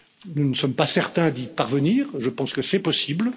Nous ne sommes pas certains d'y parvenir, mais je pense que c'est possible.